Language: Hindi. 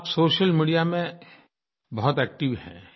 आप सोशल मीडिया में बहुत एक्टिव हैं